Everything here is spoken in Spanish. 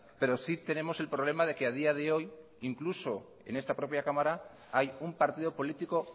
pero sí tenemos el problema de que a día de hoy incluso en esta propia cámara hay un partido político